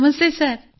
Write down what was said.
Namaste sir